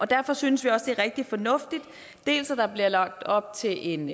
derfor synes vi også det er rigtig fornuftigt dels at der bliver lagt op til en